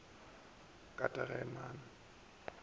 go ya ka temana ye